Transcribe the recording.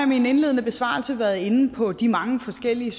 min indledende besvarelse været inde på de mange forskellige